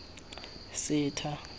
setha